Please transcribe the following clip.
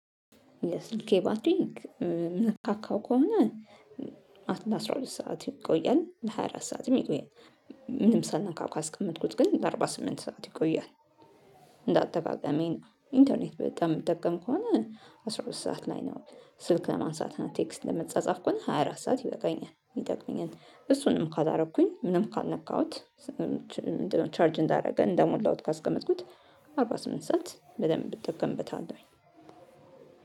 የስልኬ ባትሪንግ የምንካካው ከሆነ አስራ ሁለት ሰዓት ይቆያል ሃያ አራት ሰዓትም ይቆያል። ምንም ሳልነካው ካስቀመጥኩት ግን ለአርባ ስምንት ሰዓት ይቆያል፤። እንዳጠቃቀሜ ነው ኢንተርኔት በጣም የምጠቀም ከሆነ አስራ ሁለት ሰዓት ላይ ነው። ስልክ ለማንሳት እና ቴክስት ለመጻጻፍ ከሆነ ሃያ አራት ሰዓት ይበቃኛል ይጠቅመኛል። እሱንም ካላደረኩኝ ምንም ካልነካሁት? ምንድነው ቻርጅ እንዳደረገ እንደሞላሁት ካስቀመጥኩት አርባ ስምንት ሰዓት በደንብ እጠቀምበታለሁኝ፤።